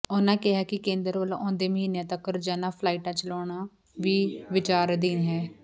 ਉਨ੍ਹਾਂ ਕਿਹਾ ਕਿ ਕੇਂਦਰ ਵਲੋਂ ਆਉਂਦੇ ਮਹੀਨਿਆਂ ਤੱਕ ਰੋਜ਼ਾਨਾ ਫਲਾਈਟਾਂ ਚਲਾਉਣਾ ਵੀ ਵਿਚਾਰ ਅਧੀਨ ਹੈ